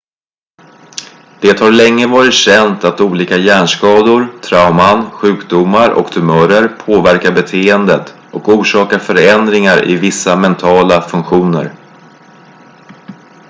det har länge varit känt att olika hjärnskador trauman sjukdomar och tumörer påverkar beteendet och orsakar förändringar i vissa mentala funktioner